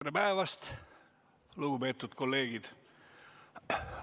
Tere päevast, lugupeetud kolleegid!